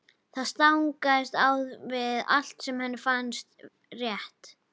Það stangast á við allt sem henni finnst rétt.